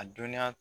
A dɔnniya